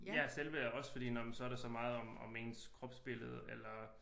Ja selvværd også fordi nåh men så er der så meget om ens kropsbillede eller